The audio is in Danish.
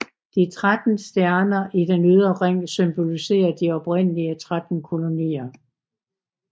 De tretten stjerner i den ydre ring symboliserer de oprindelige tretten kolonier